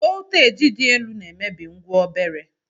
Volteji dị oké elu na-emebi ngwa obere.